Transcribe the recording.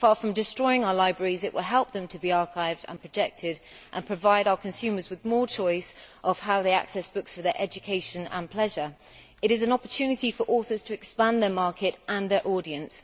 Far from destroying our libraries, it will help them to be archived and protected and provide our consumers with more choice of how they access books for the education and pleasure. It is an opportunity for authors to expand their market and their audience.